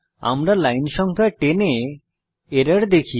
আমরা লাইন সংখ্যা 10 এ এরর দেখি